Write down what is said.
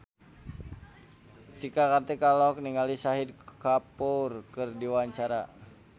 Cika Kartika olohok ningali Shahid Kapoor keur diwawancara